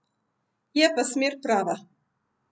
Je pa smer prava.